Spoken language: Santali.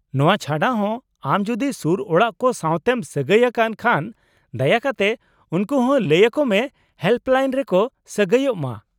-ᱱᱚᱶᱟ ᱪᱷᱟᱰᱟ ᱦᱚᱸ, ᱟᱢ ᱡᱩᱫᱤ ᱥᱩᱨ ᱚᱲᱟᱜ ᱠᱚ ᱥᱟᱶᱛᱮᱢ ᱥᱟᱹᱜᱟᱹᱭ ᱟᱠᱟᱱ ᱠᱷᱟᱱ, ᱫᱟᱭᱟ ᱠᱟᱛᱮ ᱩᱱᱠᱩ ᱦᱚᱸ ᱞᱟᱹᱭ ᱟᱠᱚ ᱢᱮ ᱦᱮᱞᱯᱞᱟᱤᱱ ᱨᱮᱠᱚ ᱥᱟᱹᱜᱟᱹᱭᱚᱜ ᱢᱟ ᱾